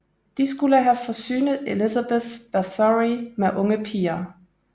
De skulle have forsynet Elizabeth Báthory med unge piger